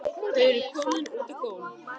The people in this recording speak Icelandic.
Þau eru komin út á gólf.